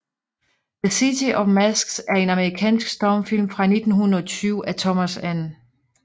The City of Masks er en amerikansk stumfilm fra 1920 af Thomas N